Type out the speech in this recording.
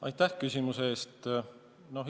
Aitäh küsimuse eest!